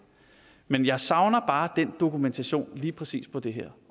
men jeg savner bare den dokumentation lige præcis på det her